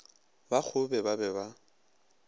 ba kgobe ba be ba